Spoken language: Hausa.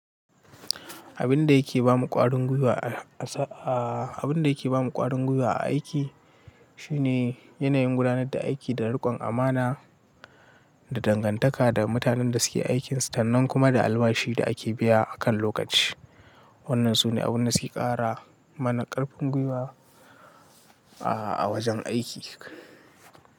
Abin da yake ba mu ƙwarin gwiwa a sa-- abin da yake ba mu ƙwarin gwiwa a aiki shine yanayin gudanar da aiki da riƙon amana da dangantaka da mutanen da suke aikin, sannan kuma da albashi da ake biya a kan lokaci. Wannan su ne abin da suke ƙara mana ƙarfin gwiwa, a wajen aiki.